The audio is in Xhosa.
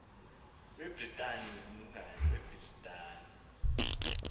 webritani umkani webritani